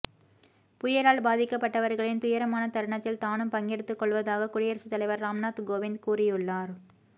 புயலால் பாதிக்கப்பட்டவர்களின் துயரமான தருணத்தில் தானும் பங்கெடுத்துக் கொள்வதாக குடியரசு தலைவர் ராம்நாத் கோவிந்த் கூறியுள்ளார்